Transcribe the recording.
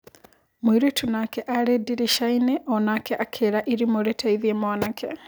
Mũirĩtu nake arĩ ndiricaini onake akĩĩra irimũ rĩteithie mwanake.